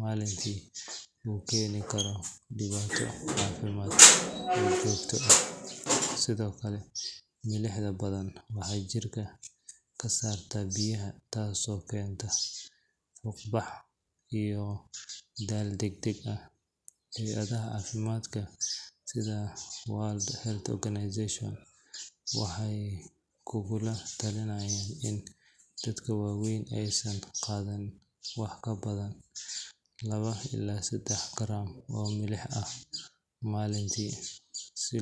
maalintii uu keeni karo dhibaato caafimaad oo joogto ah. Sidoo kale, milixda badan waxay jirka ka saartaa biyaha taasoo keenta fuuqbax iyo daal degdeg ah. Hay’adaha caafimaadka sida World Health Organization waxay kugula talinayaan in dadka waaweyn aysan qaadan wax ka badan laba ilaa saddex gram oo milix ah maalintii si.